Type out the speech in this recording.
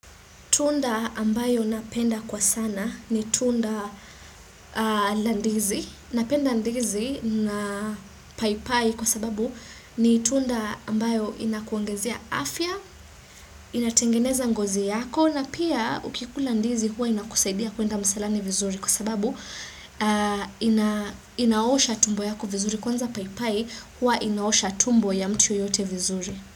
Tunda ambayo napenda kwa sana ni tunda landizi, napenda ndizi na paipai kwa sababu ni tunda ambayo inakuongezia afya, inatingeneza ngozi yako na pia ukikula ndizi hua inakusaidia kuenda msalani vizuri kwa sababu inaosha tumbo yako vizuri kwanza paipai hua inaosha tumbo ya mtu yeyote vizuri.